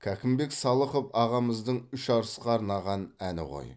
кәкімбек салықов ағамыздың үш арысқа арнаған әні ғой